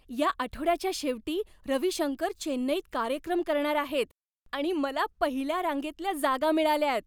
या आठवड्याच्या शेवटी रविशंकर चेन्नईत कार्यक्रम करणार आहेत आणि मला पहिल्या रांगेतल्या जागा मिळाल्यात!